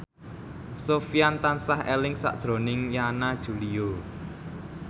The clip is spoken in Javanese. Sofyan tansah eling sakjroning Yana Julio